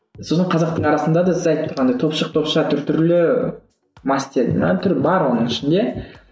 сосын қазақтың арасында да сіз айтып тұрғандай топшық топша түр түрлі бар оның ішінде